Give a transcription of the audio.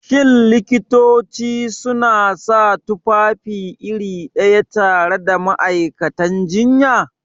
Shin Likitoci suna sa tufafi iri ɗaya tare da ma'aikatan jinya?